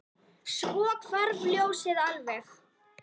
Svo hvarf ljósið alveg.